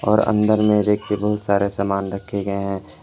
और अंदर में रैक पे बहुत सारे समान रखे गए हैं।